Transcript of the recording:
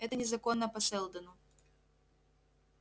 это незаконно по сэлдону